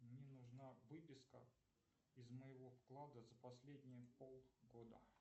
мне нужна выписка из моего вклада за последние полгода